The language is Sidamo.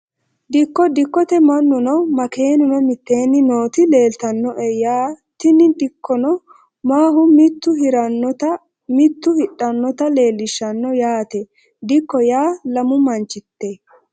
Dikko dikote manuno makeenuno miteeni nooti leeltanoe yaa tini dikkono mahu mitu hiranota mitu hidhanota leelishano yaate dikko yaa lamu manchite.